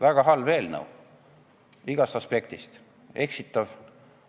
Väga halb ja eksitav eelnõu igast aspektist!